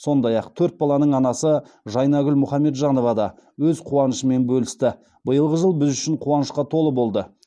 сондай ақ төрт баланың анасы жайнагүл мұхаметжанова да өз қуанышымен бөлісті биылғы жыл біз үшін қуанышқа толы болды